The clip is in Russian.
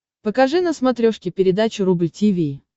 покажи на смотрешке передачу рубль ти ви